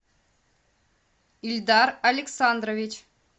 эльдар александрович